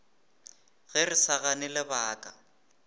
ge re sa gane lebaka